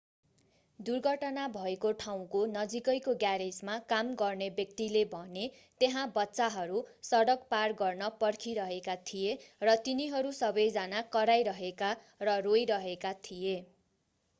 दुर्घटना भएको ठाउँको नजिकैको ग्यारेजमा काम गर्ने एक व्यक्तिले भने त्यहाँ बच्चाहरू सडक पार गर्न पर्खिरहेका थिए र तिनीहरू सबै जना कराइरहेका र रोइरहेका थिए